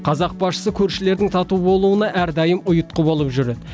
қазақ басшысы көршілердің тату болуына әрдайым ұйытқы болып жүр